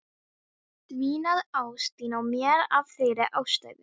Dvínaði ást þín á mér af þeirri ástæðu?